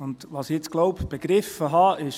Was ich jetzt, glaube ich, begriffen habe, ist: